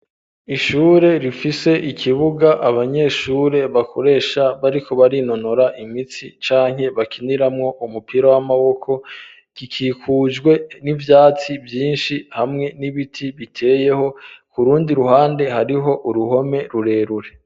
Ishure rifise ikibuga, abanyeshure bakoresha bariko barinonora imitsi ,canke bakiniramwo umupira w'amaboko, gikikujwe n'ivyatsi vyinshi ,hamwe n'ibiti biteyeho kurundi ruhande hariho, uruhome rurerure.